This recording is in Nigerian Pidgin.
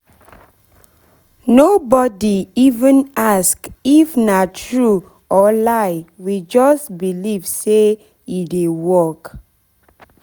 no body even ask if nah true or lie we just believe say e dey work